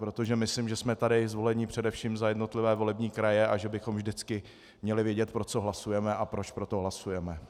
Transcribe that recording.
Protože myslím, že jsme tady zvolení především za jednotlivé volební kraje a že bychom vždycky měli vědět, pro co hlasujeme a proč pro to hlasujeme.